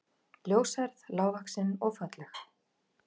Ljóshærð, lágvaxin og falleg